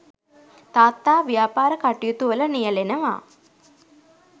තාත්තා ව්‍යාපාර කටයුතුවල නියැලෙනවා.